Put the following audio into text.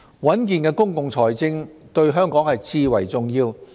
穩健的公共財政對香港至為重要。